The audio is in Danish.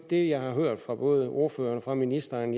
det jeg har hørt fra både ordføreren og fra ministeren